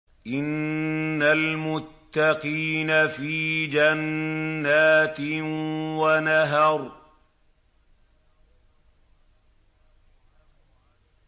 إِنَّ الْمُتَّقِينَ فِي جَنَّاتٍ وَنَهَرٍ